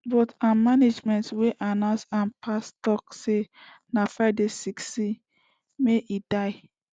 but im management wey announce im passing tok say na friday sixteen may e die